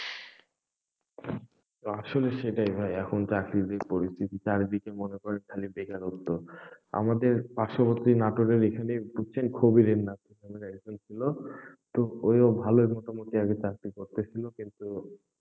আসলে সেটাই ভাই, এখন চাকরির পরিস্থিতি চারিদিকে মনে করেন খালি বেকারত্ব আমাদের পার্শবর্তী নাটোরের এখানে বুঝছেন খুবই একজন ছিল, তো ওই ও ভালোই মোটামুটি আগে চাকরি করতেnসিল কিন্তু,